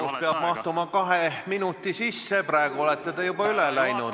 Küsimus peab mahtuma kahe minuti sisse, praegu olete te juba üle läinud.